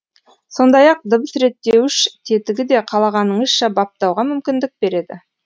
сондай ақ дыбыс реттеуіш тетігі де қалағаныңызша баптауға мүмкіндік береді